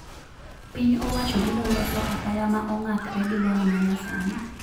Piny owacho biro loso apaya ma ong`akre gi lony ma nyasani